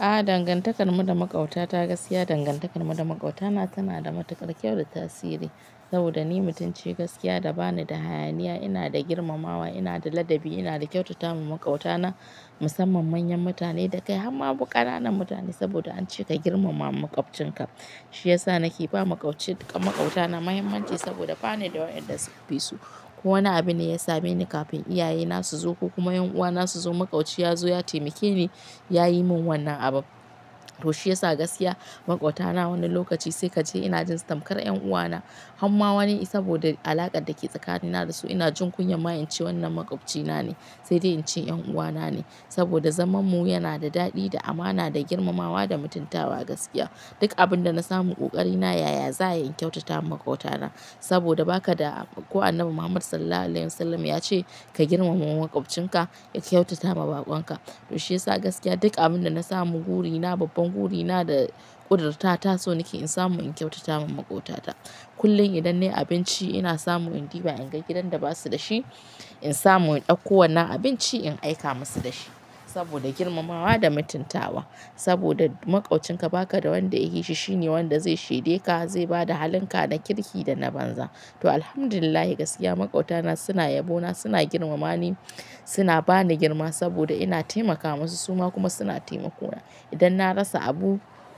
A dangantakar mu da makauta ta gaskiya, dangantakar mu da makautana tana da matuƙar kyau da tasiri. Saboda ni mutum ce gaskiya da bani da hayaniya, ina da girmamawa, ina da ladabi, ina da kyautata ma makautana musamman manyan mutane da kai har ma ƙananan mutane saboda an ce ka girmama makwabcinka. Shi yasa nake ba makwabci, makautana mahimmanci saboda ba ni da waƴanda suka fi su. Kowane abune ya same ni kafin iyaye na su zo ko kuma ƴan uwa na su zo makwauci ya zo ya taimake ni yayi min wannan abu. To shi yasa gaskiya makautana wani lokaci sai kace ina jin tamkar ƴan uwa na. Hamma wani saboda alakar da ke tsakanina da su ina jin kunya ma in ce wannan makwabcina ne sai dai in ce ƴan uwa na ne. Saboda zaman mu yana da daɗi, da amana, da girmamawa, da mutuntawa gaskiya. Duk abin da na samu ƙoƙari na yaya za ayi in kyautata ma makautana saboda baka da, ko Annabi Muhammad SAW ya ce "ka girmama makwabcinka, ka kyautata ma baƙon ka". To shi yasa gaskiya duk abin da na samu burina, babban burina da ƙudirta ta so nake in samu in kyautata ma makautana. Kullum idan nayi abinci ina samu in ɗiba in ga gidan da basu da shi, in samu in ɗauko wannan abinci in aika masu da shi saboda girmamawa da mutuntawa. Saboda makwabcinka baka da wanda yafi shi, shine wanda zai shede ka, zai bada halinka na kirki da na banza. To Alhamdulillahi gaskiya makautana suna yabo na, suna girmama ni, suna bani girma saboda ina taimaka masu su ma kuma suna taimako na. Idan na rasa abu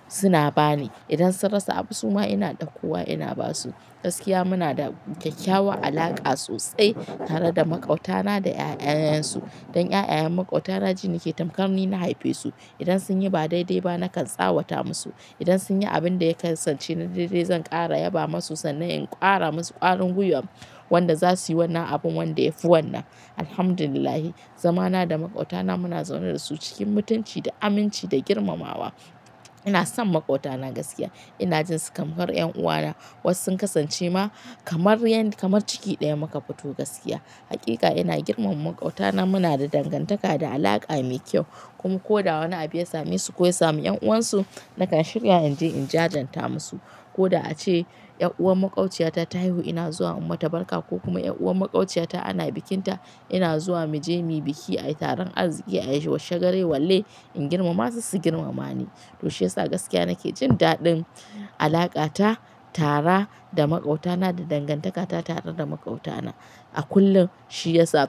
suna bani, idan sun rasa abu su ma ina ɗauko wa ina basu. Gaskiya muna da kyakkyawan alaka sosai tare da makautana da ƴaƴayen su. Dan ƴaƴan makautana ji ni ke tamkar ni na haife su. Idan sun yi ba dai-dai ba nakan tsawata masu, idan sun yi abin da ya kasance na dai-dai zan ƙara yaba masu sannan in ƙara masu ƙwarin gwiwa wanda za suyi wannan abun wanda ya fi wannan. Alhamdulillahi zamana da makautana muna zaune da su cikin mutunci da aminci da girmamawa. Ina son makautana gaskiya, ina jin su kamar ƴan uwa na wasu sun kasance ma kamar yan kamar ciki ɗaya muka fito gaskiya. Haƙiƙa ina girmama makautana muna da dangantaka da alaka mai kyau kuma ko da wani abu ya same su ko ya samu ƴan uwan su nakan shirya in je in jajirta masu. Ko da ace ƴar uwar makwaciyata ta haihu ina zuwa in mata barka ko kuma ƴar uwar makwaciyata ana bikinta ina zuwa mu je mu biki ai taron arziki, ai shagale walle in girmama su su girmama ni. To shi yasa gaskiya nake jin daɗin alaƙa ta tara da makautana da dangantaka ta tare da makautana. A kullum shi yasa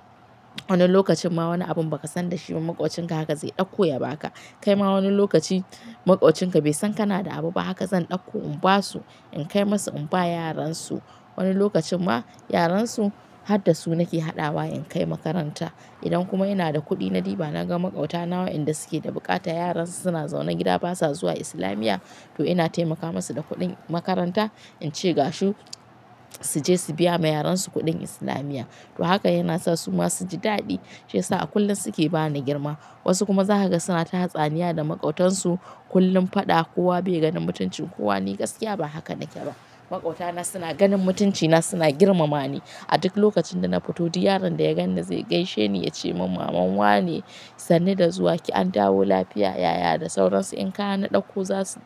wani lokacin ma wani abun ba ka san da shi ba makwabcinka haka zai ɗauko ya ba ka. Kai ma wani lokaci makwabcinka bai san kana da abu ba haka zan ɗauko in ba su, in kai masa in ba yaran su. Wani lokacin ma yaran su har da su nake haɗawa in kai makaranta. Idan kuma ina da kuɗi na ɗiba na ga makautana wa inda suke da buƙata yaran su suna zaune gida basa zuwa Islamiyya to ina taimaka masu da kuɗin makaranta in ce gashi su je su biya ma yaran su kuɗin Islamiyya. To haka yana sa su ma su ji daɗi shi yasa a kullum suke ba ni girma. Wasu kuma zakaga sunata hartsaniya da makautan su kullum faɗa kowa bai ganin mutuncin kowa ni gaskiya ba haka nake ba. Makautana suna ganin mutuncina suna girmama ni. A duk lokacin da na fito, yaron da ya ganni zai gaishe ni ya ce mun maman wa ne sannu da zuwa ki an dawo lafiya yaya da sauransu. In kayana na ɗauko za su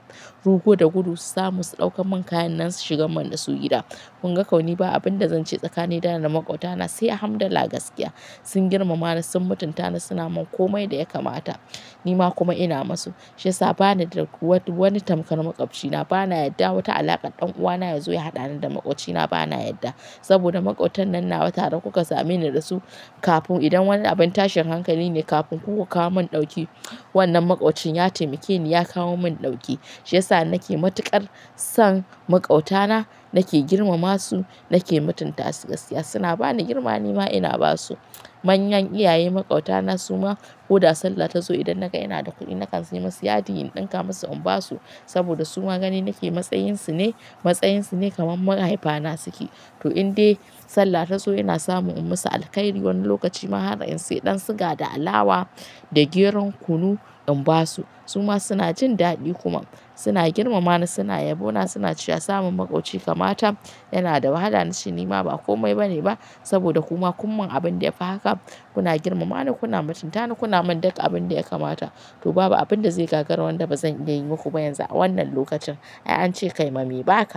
rugo da gudu su samu su ɗauka min kayan nan su shigan manna su gida. Kun ga kauni ba abin da zan ce tsakanina da ni da makautana sai Alhamdallah gaskiya sun girmama ni sun mutunta ni suna min komai da ya kamata. Ni ma kuma ina ma su. Shi yasa ba ni da wani tamkar makwabcina, bana yadda wata alakar ɗan uwa na ya zo ya haɗani da makwabcina bana yadda. Saboda makautanan nawa tare kuka same ni da su kafin idan wani abin tashin hankali ne kafin kuka kawo mun ɗauki wannan makwancin ya taimake ni ya kawo mun ɗauki. Shi yasa ni nake matuƙar son makautana nake girmama su nake mutunta su gaskiya suna bani girma ni ma ina ba su. Manyan iyaye maƙautana su ma ko da sallah ta zo idan naga ina da kuɗi nakan sayi masu yadi in ɗinka masu in ba su saboda su ma gani nake matsayin su ne matsayin su ne kamar mahaifa na suke. To in dai sallah ta zo ina samu in masu alkairi wani lokaci ma har in sayi ɗan siga da alawa da geron kunu in ba su. Su ma suna jin daɗi kuma suna girmama ni suna yabo na suna cewa samun makwabci kama ta yana da wahala ni shi ni ma ba komai ba ne ba saboda ku ma kun mun abin da ya fi haka. Kuna girmama ni kuna mutunta ni kuna min duk abin da ya kamata. To babu abin da zai gagara wanda bazan iya yi muku ba yanzu a wannan lokacin. Ai an ce kai ma mai ba ka.